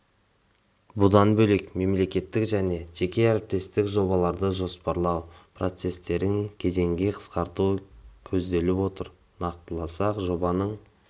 бұдан бөлек мемлекеттік және жеке әріптестік жобаларды жоспарлау процестерін кезеңге қысқарту көзделіп отыр нақтыласақ жобаның